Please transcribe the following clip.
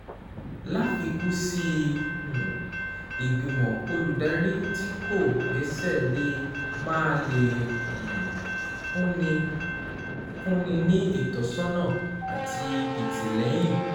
Láfikún sí i, um ìgbìmọ̀ olùdarí tí kò gbéṣẹ́ lè máà lè um fúnni ní ìtọ́sọ́nà àti ìtìlẹ́yìn